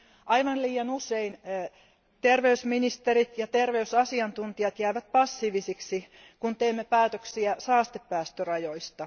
Aivan liian usein terveysministerit ja terveysasiantuntijat jäävät passiivisiksi, kun teemme päätöksiä saastepäästörajoista.